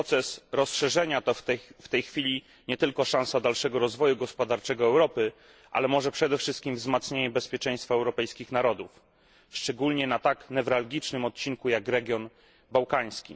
Proces rozszerzenia to w tej chwili nie tylko szansa dalszego rozwoju gospodarczego Europy, ale może przede wszystkim wzmocnienie bezpieczeństwa europejskich narodów, szczególnie na tak newralgicznym odcinku, jak region bałkański.